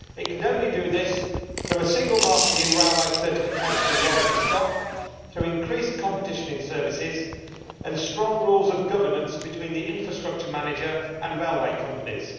It can only do this through a single market in railway certification and rolling stock, through increased competition in services, and strong rules of governance between the infrastructure manager and railway companies.